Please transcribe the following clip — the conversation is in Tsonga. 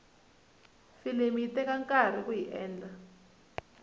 filimi yi teka nkarhi kuyi endla